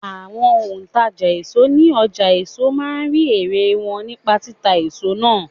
Àwọn òǹtàjà èso ní ọjà èso máa ń rí ẹ̀rẹ̀ wọn nípa títa èso náà.